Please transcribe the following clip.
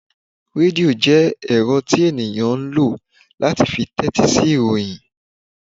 Redio jẹ ẹrọ tí ènìyàn ń lọ láti fí tẹtisi ìròyìn.